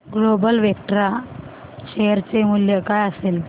global Vectra share चे मूल्य काय असेल